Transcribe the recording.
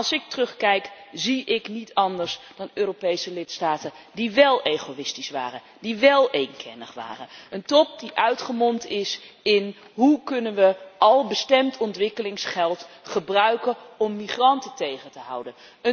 Maar als ik terugkijk, zie ik niet anders dan Europese lidstaten die wél egoïstisch waren, die wél eenkennig waren, een top die uitgemond is in hoe kunnen we al bestemd ontwikkelingsgeld gebruiken om immigranten tegen te houden?